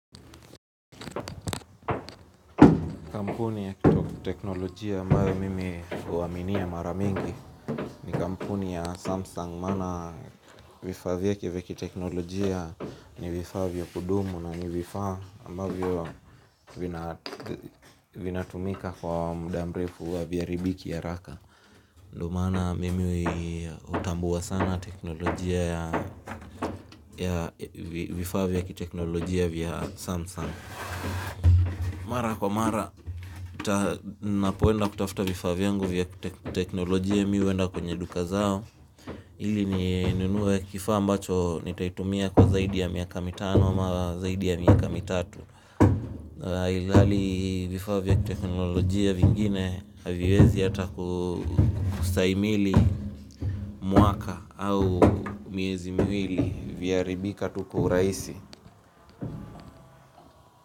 Kampuni ya kiteknolojia ambayo mimi huaminia mara mingi ni kampuni ya Samsung maana vifaa vyake vya kiteknolojia ni vifaa vya kudumu na ni vifaa ambavyo vina vinatumika kwa muda mrefu ya haviharibiki haraka ndo maana mimi hutambua sana teknolojia ya vifaa vya kiteknolojia vya Samsung. Mara kwa mara, ninapoenda kutafuta vifaa vyangu vya teknolojia mimi huenda kwenye duka zao ili ninunue kifaa ambacho nitaitumia kwa zaidi ya miaka mitano ama zaidi ya miaka mitatu ilhali vifaa vya teknolojia vingine haviwezi hata kustahimili mwaka au miezi miwili vyaharibika tu kwa urahisi.